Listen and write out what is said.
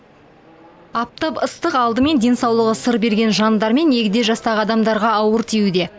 аптап ыстық алдымен денсаулығы сыр берген жандар мен егде жастағы адамдарға ауыр тиюде